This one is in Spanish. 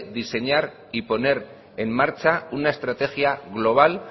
diseñar y poner en marcha una estrategia global